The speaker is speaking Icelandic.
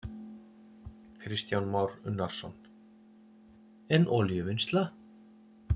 Kristján Már Unnarsson: En olíuvinnsla?